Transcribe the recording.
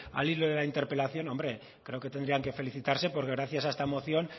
al hilo de la interpelación hombre creo que tendrían que felicitarse porque gracias a esta moción